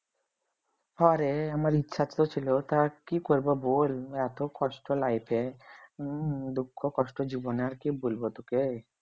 হ্যাঁরে আমার ইচ্ছা তো ছিল তা কি করব বল এত কষ্ট life উম দুঃখ কষ্ট জীবনে আর কি বলবো তোকে